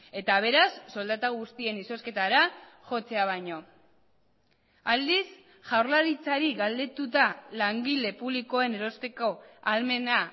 eta beraz soldata guztien izozketara jotzea baino aldiz jaurlaritzari galdetuta langile publikoen erosteko ahalmena